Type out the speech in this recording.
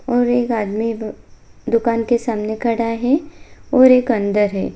और एक आदमी दुकान के सामने खड़ा है और एक अंदर है।